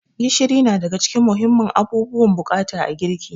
Gishiri na daga cikin muhimman abubuwan bukata a girki.